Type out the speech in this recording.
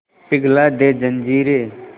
पिघला दे जंजीरें